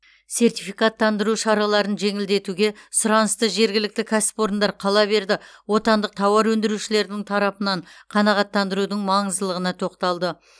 сертификаттандыру шараларын жеңілдетуге сұранысты жергілікті кәсіпорындар қала берді отандық тауар өндірушілердің тарапынан қанағаттандырудың маңыздылығына тоқталды